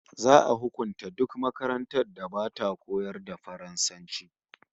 Za'a hukunta duk makarantar da bata koyar da Faransanci